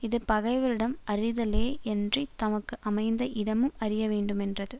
இது பகைவரிடம் அறிதலே யன்றி தமக்கு அமைந்த இடமும் அறிய வேண்டுமென்றது